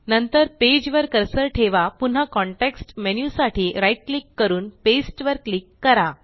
नंतर पेज वर कर्सर ठेवा पुन्हा कॉन्टेक्स्ट मेन्यु साठी right क्लिक करून पास्ते वर क्लिक करा